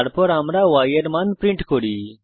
তারপর আমরা y এর মান প্রিন্ট করি